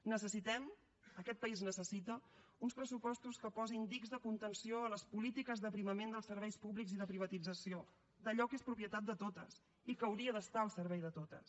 necessitem aquest país necessita uns pressupostos que posin dics de contenció a les polítiques d’aprimament dels serveis públics i de privatització d’allò que és propietat de totes i que hauria d’estar al servei de totes